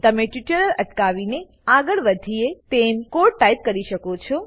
તમે ટ્યુટોરીયલ અટકાવીને આગળ વધીએ તેમ કોડ ટાઈપ કરી શકો છો